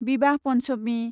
विवाह पन्चमि